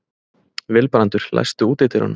Vilbrandur, læstu útidyrunum.